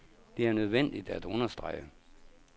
Det er nødvendigt at understrege.